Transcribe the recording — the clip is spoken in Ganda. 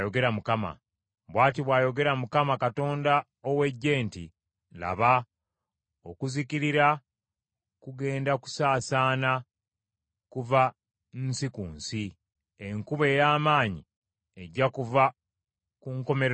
Bw’ati bw’ayogera Mukama Katonda ow’Eggye nti, “Laba okuzikirira kugenda kusaasaana kuva nsi ku nsi; enkuba ey’amaanyi ejja kuva ku nkomerero y’ensi.”